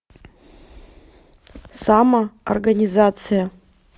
самоорганизация